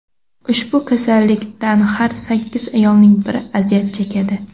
Ushbu kasallikdan har sakkiz ayolning biri aziyat chekadi.